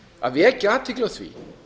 að vekja athygli á því